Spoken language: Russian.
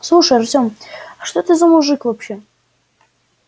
слушай артём а что ты за мужик вообще